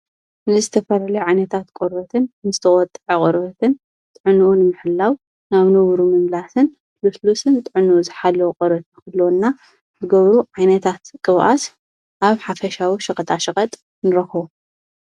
ንዝተፈልሉ ዓይነታት ቖርበትን ምስተወጥዕ ቖርበትን ጥዕኑኡን ምሕላው ናብ ኑብሩ ምምላስን ሉስሉስን ጥዕኑኡ ዝኃለዉ ቕረት ኽልወና ብገብሩ ዒይነታት ቕብኣስ ኣብ ሓፈሻዊ ሽቕጣ ሽቐጥ ንረክቦ።